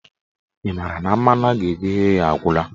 Ị maara na mmanụ a ga-eji ghee ya agwụla?